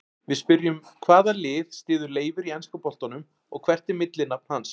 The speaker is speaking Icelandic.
Við spyrjum: Hvaða lið styður Leifur í enska boltanum og hvert er millinafn hans?